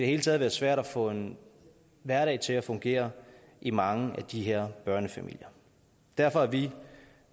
hele taget være svært at få en hverdag til at fungere i mange af de her børnefamilier derfor er vi